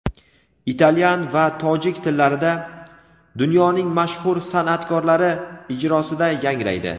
italyan va tojik tillarida) dunyoning mashhur san’atkorlari ijrosida yangraydi.